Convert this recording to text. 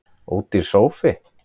Ódýr sófi